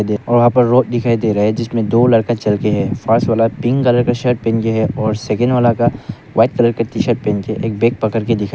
दे और वहां पर रोड दिखाई दे रहा है जिसमें दो लड़का चल के है फर्स्ट वाला पिंक कलर शर्ट पहन के है और सेकंड वाला का व्हाइट कलर का टी शर्ट पहन के है एक बैग पकड़ के दिखाई --